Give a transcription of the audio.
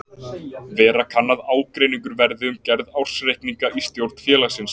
Vera kann að ágreiningur verði um gerð ársreikninga í stjórn félagsins.